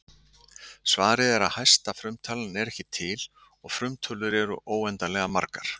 Svarið er að hæsta frumtalan er ekki til og frumtölur eru óendanlega margar.